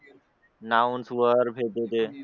nouns वर ते